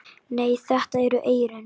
Nei, þetta eru eyrun.